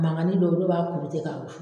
Mangani dɔw dɔw b'a kuru ten k'a wusu